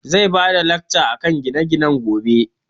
Zai bada lacca akan gine gine gobe